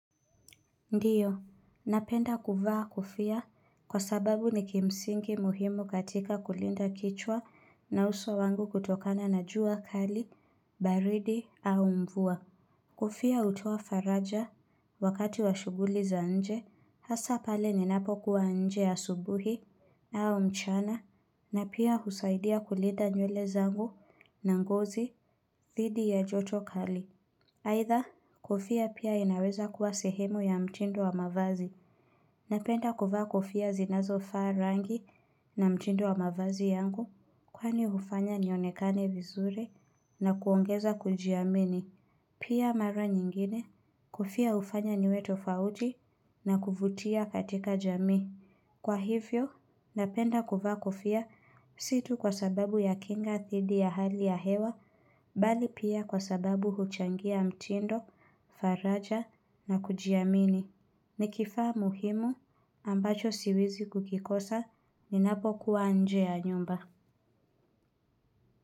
Ndiyo, napenda kuvaa kofia kwa sababu ni kimsingi muhimu katika kulinda kichwa na uso wangu kutokana na jua kali, baridi au mvua. Kofia hutoa faraja wakati wa shuguli za nje, hasa pale ninapo kuwa nje ya asubuhi au mchana na pia husaidia kulinda nywele zangu na ngozi thidhi ya joto kali. Haitha, kofia pia inaweza kuwa sehemu ya mtindo wa mavazi. Napenda kuvaa kofia zinazo faa rangi na mtindo wa mavazi yangu kwani ufanya nionekane vizuri na kuongeza kujiamini. Pia mara nyingine, kofia ufanya niwe tofauti na kuvutia katika jamii. Kwa hivyo, napenda kuvaa kofia si tuu kwa sababu ya kinga thidhi ya hali ya hewa, bali pia kwa sababu huchangia mtindo, faraja na kujiamini. Ni kifaa muhimu ambacho siwezi kukikosa ninapo kuwa nje ya nyumba.